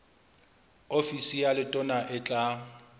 ofisi ya letona e tla